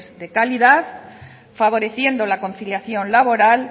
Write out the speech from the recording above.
de calidad favoreciendo la conciliación laboral